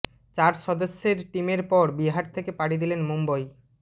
চার সদস্যের টিমের পর বিহার থেকে পাড়ি দিলেন মুম্বই